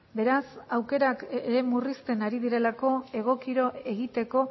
beraz aukerak ere murrizten ari direlako egokiro egiteko